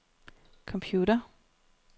computer